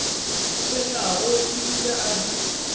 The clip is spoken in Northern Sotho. tshwenyago e bile a di